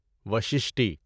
وششٹی